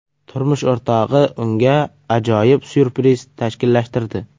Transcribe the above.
Turmush o‘rtog‘i unga ajoyib syurpriz tashkillashtirdi.